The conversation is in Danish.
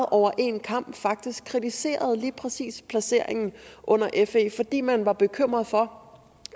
over en kam faktisk kritiserede lige præcis placeringen under fe fordi man var bekymret for